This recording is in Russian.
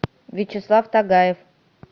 вячеслав тагаев